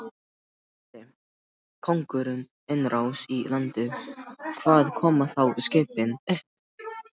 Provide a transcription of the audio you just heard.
Geri konungur innrás í landið, hvar koma þá skipin upp?